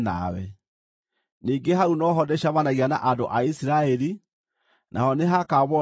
ningĩ hau no ho ndĩcemanagia na andũ a Isiraeli, naho nĩhakaamũrwo nĩ riiri wakwa.